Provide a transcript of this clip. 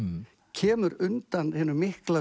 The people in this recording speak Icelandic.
kemur undan hinum mikla